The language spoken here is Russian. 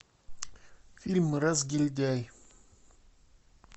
фильм разгильдяй